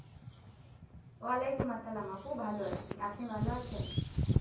আলাকুমআসসালাম আপু ভালো আছি আপনি ভালো আছেন?